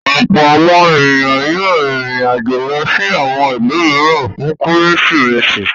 Ọ̀pọ̀ àwọn ènìyàn yóò rìnrìn-àjò lọ sí àwọn ìlú mìíràn fún Kérésìmesì.